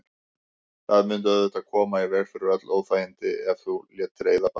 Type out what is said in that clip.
Það mundi auðvitað koma í veg fyrir öll óþægindi ef þú létir eyða bara.